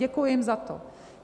Děkuji jim za to.